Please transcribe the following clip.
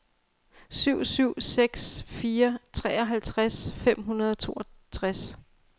syv syv seks fire treoghalvtreds fem hundrede og toogtres